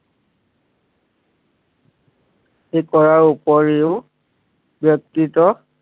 ঠিক কৰাৰ উপৰিও